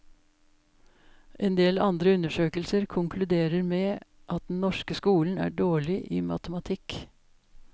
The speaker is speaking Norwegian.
Endel andre undersøkelser konkluderer med at den norske skolen er dårlig i matematikk.